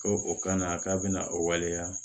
Ko o kana k'a bɛna o waleya